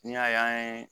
N'i y'a ye an ye